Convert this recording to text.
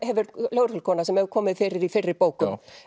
lögreglukona sem hefur komið fyrir í fyrri bókum